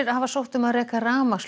hafa sótt um að reka